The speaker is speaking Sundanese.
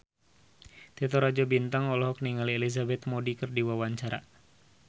Titi Rajo Bintang olohok ningali Elizabeth Moody keur diwawancara